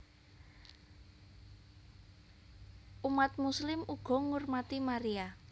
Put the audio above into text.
Umat Muslim uga ngurmati Maria